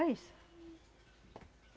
É isso.